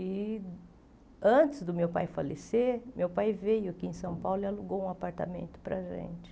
E, antes do meu pai falecer, meu pai veio aqui em São Paulo e alugou um apartamento para a gente.